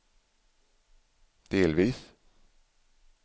delvis